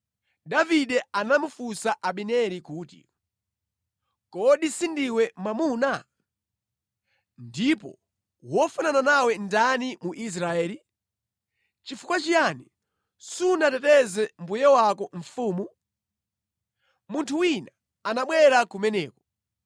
Davide anamufunsa Abineri kuti, “Kodi sindiwe mwamuna? Ndipo wofanana nawe ndani mu Israeli? Nʼchifukwa chiyani sunateteze mbuye wako mfumu? Munthu wina anabwera kumeneko.